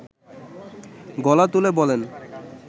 গলা তুলে বলেন